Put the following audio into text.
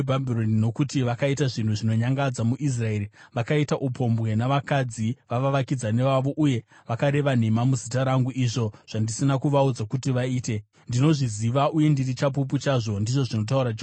Nokuti vakaita zvinhu zvinonyangadza muIsraeri; vakaita upombwe navakadzi vavavakidzani vavo uye vakareva nhema muzita rangu, izvo zvandisina kuvaudza kuti vaite. Ndinozviziva uye ndiri chapupu chazvo,” ndizvo zvinotaura Jehovha.